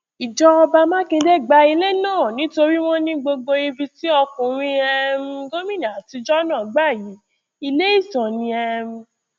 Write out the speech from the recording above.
ìjọba mákindé gba ilé náà nítorí wọn ní gbogbo ibi tí ọkùnrin um gómìnà àtijọ náà gbà yìí ilé ìtàn ni um